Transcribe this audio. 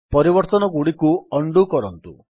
ପରିବର୍ତ୍ତନଗୁଡ଼ିକୁ undo କରନ୍ତୁ